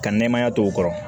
Ka nɛmaya to u kɔrɔ